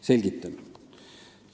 Selgitan.